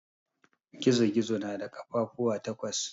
Gizo-gizo na da kafafuwa takwas.